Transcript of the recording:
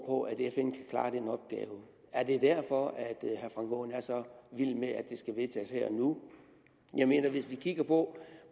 på at fn kan klare den opgave er det derfor at herre frank aaen er så vild med at det skal vedtages her og nu hvis vi kigger på